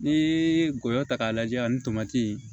N'i ye ngɔyɔ ta k'a lajɛ ani tomati